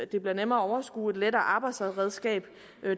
det bliver nemmere at overskue og et lettere arbejdsredskab